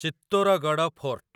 Chittorgarh fort